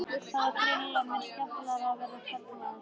Það var greinilega mun skemmtilegra að vera karlmaður.